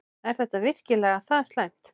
Er þetta virkilega það slæmt?